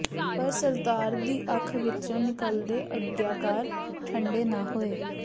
ਪਰ ਸਰਦਾਰ ਦੀ ਅੱਖ ਵਿਚੋ ਨਿਕਲਦੇ ਅੰਗਿਆਰ ਠੰਡੇ ਨਾ ਹੋਏ